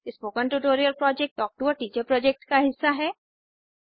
spoken tutorial project talk to a teacher project का हिस्सा है